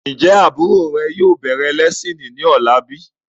Ń jẹ́ àbúrò rè yìí ó bẹ̀rẹ̀ lẹ́siini ni ọ̀la bíi?